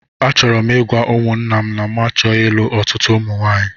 Achọrọ m ịgwa ụmụńnà m na mụ achọghị ịlụ ọtụtụ ụmụ nwaanyị